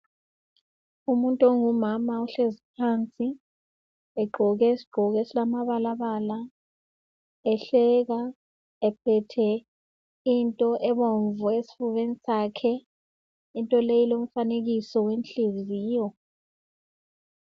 Umuntu ongumama uhlezi phansi, egqoke isigqoko esilamabalabala, ehleka, ephethe into ebomvu esifubeni sakhe. Into le ilomfanekiso wenhliziyo.